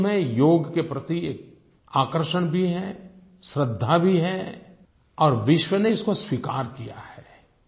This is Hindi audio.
पूरे विश्व मे योग के प्रति एक आकर्षण भी है श्रद्धा भी है और विश्व ने इसको स्वीकार किया है